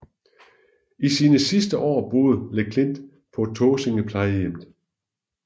I sine sidste år boede Le Klint på Tåsinge Plejehjem